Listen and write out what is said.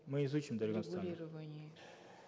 мы изучим дарига нурсултановна в регулировании